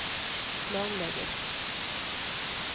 planlegger